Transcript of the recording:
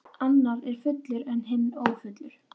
Annar er fullur en hinn ófullur.